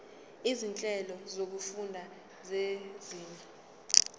izinhlelo zokufunda zezinga